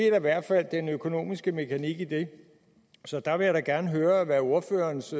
i hvert fald den økonomiske mekanik i det så der vil jeg da gerne høre hvad ordførerens